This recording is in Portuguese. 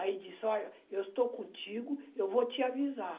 Aí, disse, olha, eu estou contigo, eu vou te avisar.